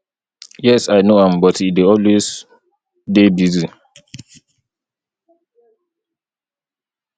yes i know am but e dey always dey busy